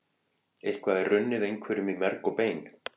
Eitthvað er runnið einhverjum í merg og bein